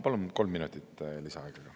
Palun kolm minutit lisaaega ka.